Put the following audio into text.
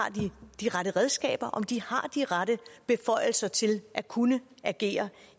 de rette redskaber om de har de rette beføjelser til at kunne agere